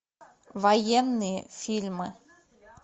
военные фильмы